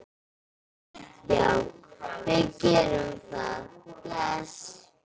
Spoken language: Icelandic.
Já, við gerum það. Bless.